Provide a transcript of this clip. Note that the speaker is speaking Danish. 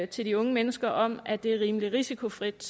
til de unge mennesker om at det er rimelig risikofrit